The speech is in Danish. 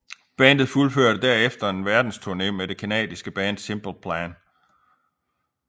Bandet fuldførte derefter en verdensturne med det canadiske band Simple Plan